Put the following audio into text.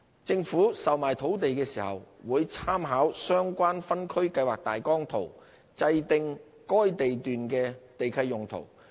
政府售賣土地時，會參考相關分區計劃大綱圖制訂該地段的地契用途。